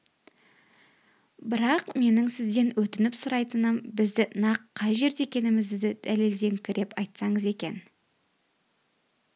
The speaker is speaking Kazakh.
бірақ менің сізден өтініп сұрайтыным біздің нақ қай жерде екенімізді дәлелдеңкіреп айтсаңыз екен